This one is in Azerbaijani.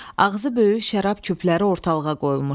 Ağzı böyük şərab küpləri ortalığa qoyulmuşdu.